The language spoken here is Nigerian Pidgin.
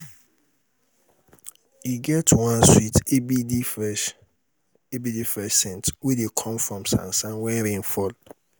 e get one sweet abd fresh abd fresh saint wey dey come from sand wen rain fall.